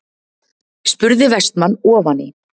spurði Vestmann ofan í.